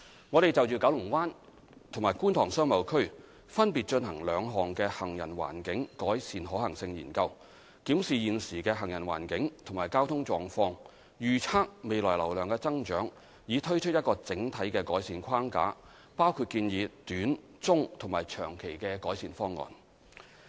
我們就九龍灣及觀塘商貿區分別進行兩項行人環境改善可行性研究，檢視現時的行人環境及交通狀況，預測未來流量的增長，以推出一個整體的改善框架，包括建議短、中及長期的改善方案。